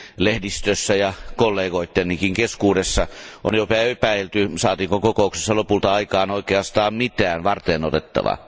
Lehdistössä ja kollegoittenikin keskuudessa on jopa epäilty, saatiinko kokouksessa lopulta aikaan oikeastaan mitään varteenotettavaa.